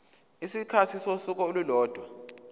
isikhathi sosuku olulodwa